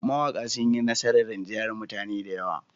Mawaƙa sun yi nasarar rinjayar mutane da yawa.